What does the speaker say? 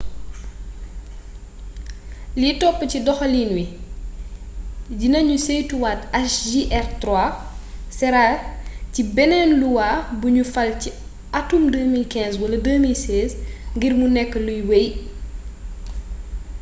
li topp ci doxaliin wi dina ñu saytuwaat hjr-3 sera ci beneen luwa buñu fal ci atum 2015 wala 2016 ngir mu nekk luy wey